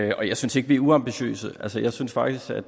jeg synes ikke vi er uambitiøse altså jeg synes faktisk at